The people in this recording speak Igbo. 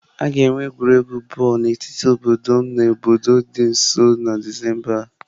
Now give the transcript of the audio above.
A ga-enwe egwuregwu bọọlụ n'etiti obodo m na obodo dị nso na Disemba a.